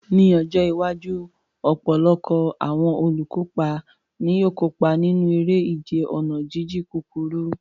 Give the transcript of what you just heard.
Ní ọjọ́ iwájú, ọ̀pọ̀lọpọ̀ àwọn olùkópa ni yóò kópa nínú eré ìje ọ̀nà jíjìn kúkúrú.